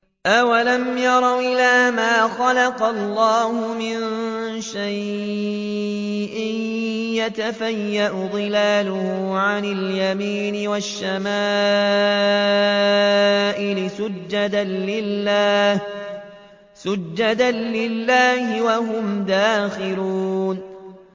أَوَلَمْ يَرَوْا إِلَىٰ مَا خَلَقَ اللَّهُ مِن شَيْءٍ يَتَفَيَّأُ ظِلَالُهُ عَنِ الْيَمِينِ وَالشَّمَائِلِ سُجَّدًا لِّلَّهِ وَهُمْ دَاخِرُونَ